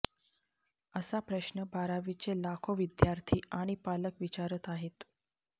असा प्रश्न बारावीचे लाखो विद्यार्थी आणि पालक विचारत आहेत